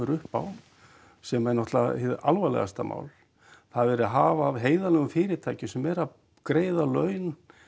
upp á sem er náttúrulega hið alvarlegasta mál það er verið að hafa af heiðarlegum fyrirtækjum sem eru að greiða laun